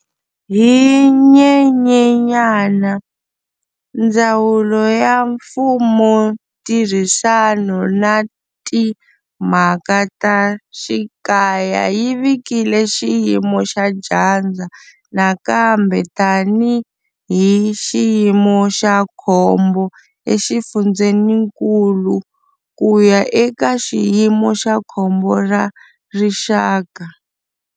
Hi Nyenyenyana, Ndzawulo ya Mfumontirhisano na Timhaka ta Xikaya yi vikile xiyimo xa dyandza nakambe tanihi xiyimo xa khombo exifundzeninkulu ku ya eka xiyimo xa khombo ra rixaka.